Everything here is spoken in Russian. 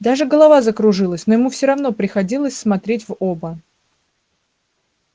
даже голова закружилась но ему все равно приходилось смотреть в оба